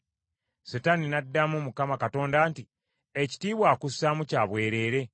Setaani n’addamu Mukama Katonda nti, “Ekitiibwa akussaamu kya bwereere?